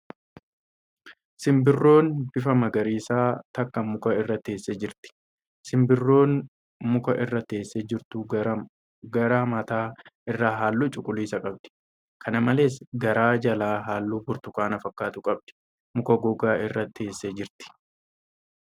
Sinbirroon bifa magariisaa takka muka irra teessee jirti. Simbirroon muka irra teessee jirtu gara mataa irraa halluu cuquliisa qabdi. Kana malees, garaa jalaa halluu burtukaana fakkaatu qabdi. Muka goggogaa irra teessee jirti.